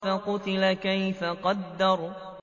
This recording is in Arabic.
فَقُتِلَ كَيْفَ قَدَّرَ